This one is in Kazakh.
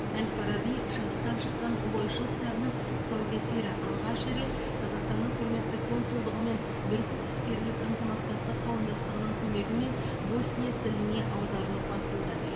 әл фараби шығыстан шыққан ұлы ойшыл кітабының тұсаукесері алғаш рет қазақстанның құрметті консулдығы мен бүркіт іскерлік ынтымақтастық қауымдастығының көмегімен босния тіліне аударылып басылды